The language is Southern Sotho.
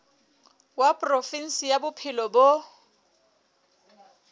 wa provinse ya bophelo bo